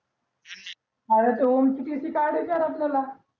अरे त्या ओम ची काधायची यार आपल्याया